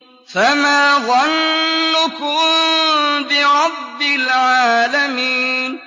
فَمَا ظَنُّكُم بِرَبِّ الْعَالَمِينَ